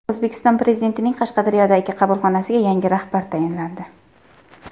O‘zbekiston Prezidentining Qashqadaryodagi qabulxonasiga yangi rahbar tayinlandi.